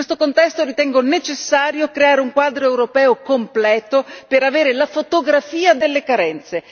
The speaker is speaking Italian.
In questo contesto, ritengo necessario creare un quadro europeo completo per avere la fotografia delle carenze.